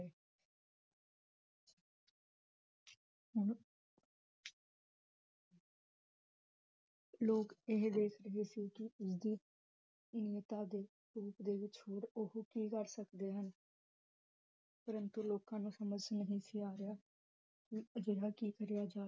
ਲੋਗ ਇਹ ਦੇਖ ਰਹੇ ਸੀ ਕਿ ਉਸਦੀ ਦੇ ਵਿਚ ਹੋਰ ਓਹੋ ਕੀ ਕਰ ਸਕਦੇ ਹਨ ਪ੍ਰੰਤੂ ਲੋਕਾਂ ਨੂੰ ਸਮਝ ਨਹੀ ਸੀ ਆ ਰਿਹਾ ਅਜਿਹਾ ਕੀ ਕਰਿਆ ਜਾਵੇ